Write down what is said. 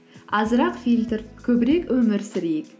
азырақ фильтр көбірек өмір сүрейік